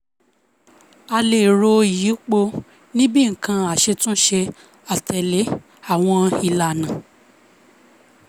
a lè ro ìyípo ní bíi nǹkan aṣetúnṣe àtèlè awon ìlànà